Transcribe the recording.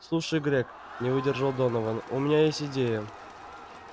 слушай грег не выдержал донован у меня есть идея